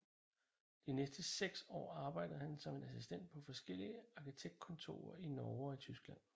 De næste seks år arbejdede han som assistent på forskellige arkitektkontorer i Norge og Tyskland